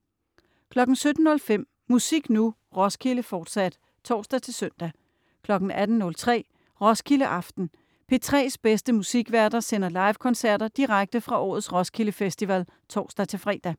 17.05 Musik Nu! Roskilde, fortsat (tors-søn) 18.03 Roskilde aften. P3's bedste musikværter sender livekoncerter direkte fra årets Roskilde Festival (tors-fre)